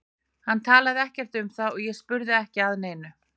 Hann talaði ekkert um það og ég spurði ekki að neinu.